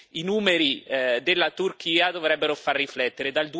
I numeri della Turchia dovrebbero far riflettere.